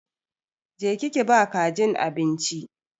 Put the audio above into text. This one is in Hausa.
Je ki ki ba kajin abinci!